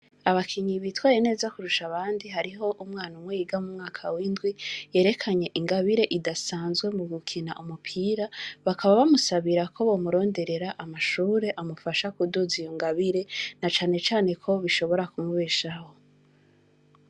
Abakinyi bitwaye neza Kurusha abandika, hariho umwana umwe yiga mumwaka w'indwi yerekanye ingabire idasanzwe mugukina Umupira, Bakaba bamusabira ko bomuronderera, Amashure amufasha kuduza iyi ngabire. Nacen cane ko bishobora kumubeshaho.